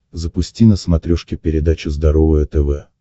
запусти на смотрешке передачу здоровое тв